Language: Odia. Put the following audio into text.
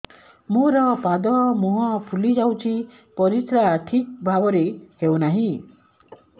ମୋର ପାଦ ମୁହଁ ଫୁଲି ଯାଉଛି ପରିସ୍ରା ଠିକ୍ ଭାବରେ ହେଉନାହିଁ